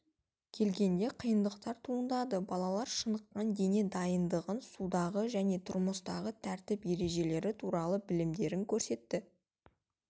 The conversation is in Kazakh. келгенде қиындықтар туындады балалар шыныққан дене дайындығын судағы және тұрмыстағы тәртіп ережелері туралы білімдерін көрсетті